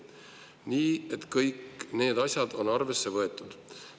Nii et kõik need asjad on arvesse võetud.